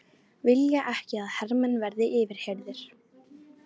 Vilja ekki að hermenn verði yfirheyrðir